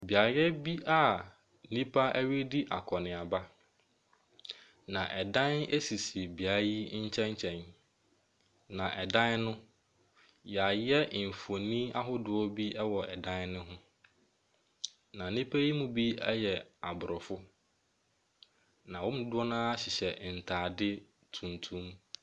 Beaeɛ bi a nnipa redi akɔnneaba, na dan sisi beaeɛ yi nkyɛnkyɛn, na dan no, wɔayɛ mfonin ahodoɔ bi wɔ dan no ho, na nnipa yi mu bi yɛ aborɔfo, na wɔn mu dodoɔ no ara hyehyɛ ntade tuntum.